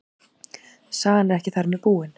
Sagan er ekki þar með búin.